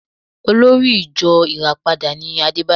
Olórí ìjo Ìràpadà ni Adébóyè